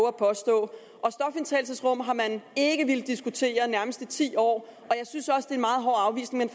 at påstå og stofindtagelsesrum har man ikke villet diskutere nærmest i ti år og jeg synes også det er en meget hård afvisning